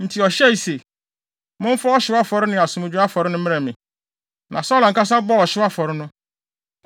Enti ɔhyɛe se, “Momfa ɔhyew afɔre ne asomdwoe afɔre no mmrɛ me.” Na Saulo ankasa bɔɔ ɔhyew afɔre no.